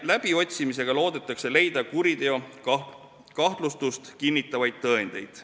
Läbiotsimisega loodetakse leida kuriteokahtlustust kinnitavaid tõendeid.